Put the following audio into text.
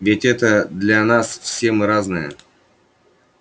ведь это для нас все мы разные